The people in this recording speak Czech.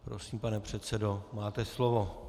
Prosím, pane předsedo, máte slovo.